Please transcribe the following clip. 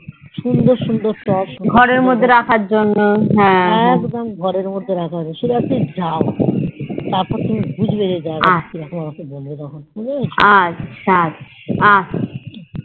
সুন্দর সুন্দর টোভ একদম ঘর এর মধ্যে রাখার জন্যে সে যায় তারপর তুমি বুজবে যে জাগা তা যেরকম আমাকে বলবে তখন বুঝেছ